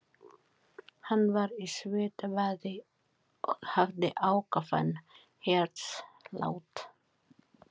Hann var í svitabaði og hafði ákafan hjartslátt.